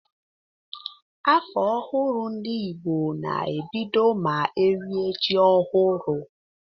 Afọ ọhụrụ ndị Igbo na ebido ma erie ji ọhụrụ.